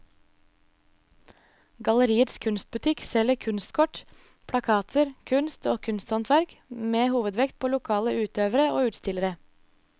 Galleriets kunstbutikk selger kunstkort, plakater, kunst og kunsthåndverk med hovedvekt på lokale utøvere og utstillere.